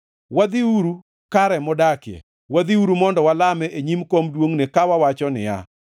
“Wadhiuru kare modakie; wadhiuru mondo walame e nyim kom duongʼne, ka wawacho niya,